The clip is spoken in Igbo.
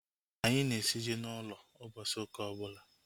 Anyị na-esi ji n'ụlọ a ụbọchị ụka ọbụla